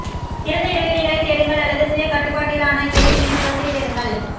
திறந்த இடைவெளிகளைத் தேடுங்கள் அல்லது சுய கட்டுப்பாட்டிலான ஏர் விநியோகத்தைத் தேடுங்கள்